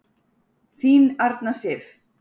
Þín Arna Sif.